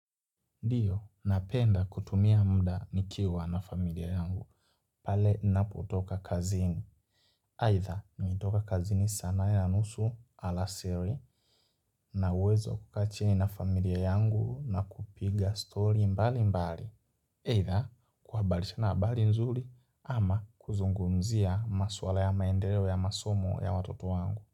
Ndiyo, napenda kutumia mda nikiwa na familia yangu. Pale napotoka kazini. Aidha, mi hutoka kazini saa nane na nusu alasiri na uwezo wa kukaa chini na familia yangu na kupiga story mbali mbali. Aidha, kwa habari sina habari nzuri ama kuzungumzia maswala ya maendeleo ya masomo ya watoto wangu.